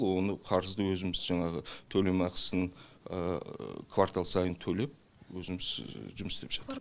оны қарызды өзіміз жаңағы төлем ақысын квартал сайын төлеп өзіміз жұмыс істеп жатырмыз